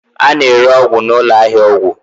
a na-ere ọgwụ na ụlọ ahịa ọgwụ.